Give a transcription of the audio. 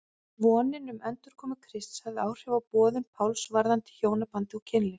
Vonin um endurkomu Krists hafði áhrif á boðun Páls varðandi hjónaband og kynlíf.